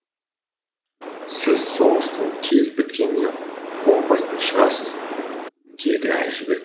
сіз соғыстың тез біткеніне қуанбайтын шығарсыз деді әжібек